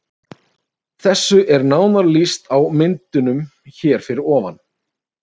Þessu er nánar lýst á myndunum hér fyrir ofan.